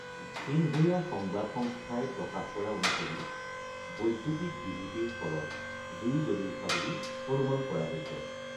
Xinhua সংবাদ সংস্থাই প্ৰকাশ কৰা অনুসৰি, বৈদ্যুতিক বিজুতিৰ ফলত জুই জ্বলি উঠা বুলি অনুমান কৰা হৈছে।